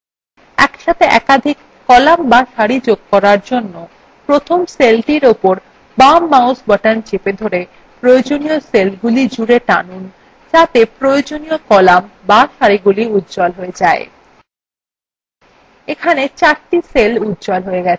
একসাথে একাধিক কলাম বা সারি যোগ করার জন্য প্রথম সেলটির উপর বাম mouse button চেপে ধরে প্রয়োজনীয় সেলগুলি জুড়ে টেনে আনতে হবে যাতে প্রয়োজনীয় কলাম বা সারি গুলিউজ্জ্বল হয়ে যায়